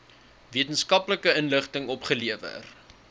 wetenskaplike inligting opgelewer